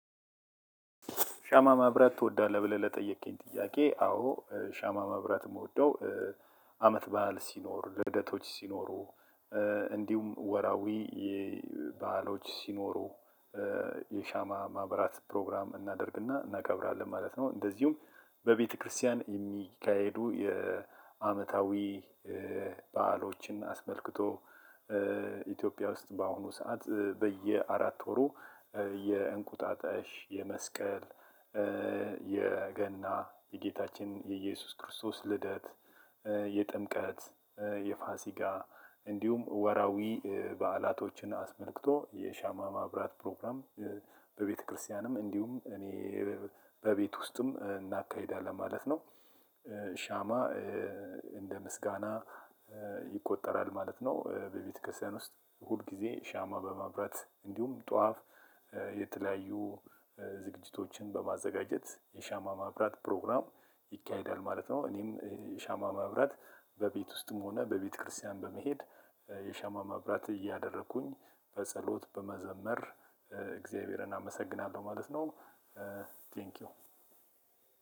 ሻማ መብረት ትወዳለህ ብለህ ለጠየቀኝ ጥያቄ አዎ ሻማ መብረት ምወደው አመት በዓል ሲኖር ልደቶች ሲኖሩ እንዲሁም ወራዊ በዓሎች ሲኖሩ የሻማ ማብራት ፕሮግራም እናደርግና እናከብራለን ማለት ነው። እንደዚሁም በቤተክርስቲያን ሚካሄዱ የአመታዊ በዓሎችን አስመልክቶ። ኢትዮጵያ ውስጥ በአሁኑ ሰዓት በየአራት ወሩ የእንቁጣጣሽ፣ የመስቀል፣ የገና የጌታችን የኢየሱስ ክርስቶስ ልደት፣ የጥምቀት፣ የፋሲጋ እንዲሁም ወራዊ በዓላቶችን አስመልክቶ የሻማ ማብራት ፕሮግራም በቤተክርስቲያንም እንዲሁም እኔ በቤት ውስጥም እናካሄዳለን ማለት ነው። ሻማ እንደ ምስጋና ይቆጠራል ማለት ነው። በቤተክርስቲያን ውስጥ ሁል ጊዜ ሻማ በመብራት እንዲሁም ጧፍ የተለያዩ ዝግጅቶችን በማዘጋጀት የሻማ ማብራት ፕሮግራም ይካሄዳል ማለት ነው። እኔም የሻማ ማብራት በቤት ውስጥም ሆነ በቤተክርስቲያን በመሄድ የሻማ ማብራት እያደረኩኝ በጸሎት በመዘመር እግዚአብሔርን አመሰግናለሁ ማለት ነው። ቴንኪው